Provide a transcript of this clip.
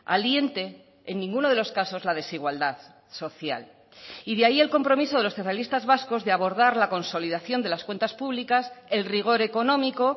aliente en ninguno de los casos la desigualdad social y de ahí el compromiso de los socialistas vascos de abordar la consolidación de las cuentas públicas el rigor económico